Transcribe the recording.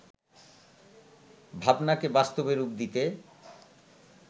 ভাবনাকে বাস্তবে রূপ দিতে